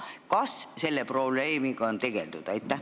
Kas selle probleemiga on tegeldud?